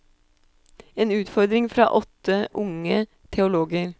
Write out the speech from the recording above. En utfordring fra åtte unge teologer.